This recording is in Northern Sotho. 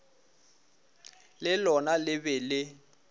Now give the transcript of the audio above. le lona le be le